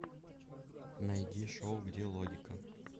найди шоу где логика